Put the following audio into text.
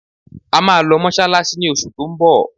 A máa lọ Mọ́ṣáláṣí ni oṣù tó ń bọ̀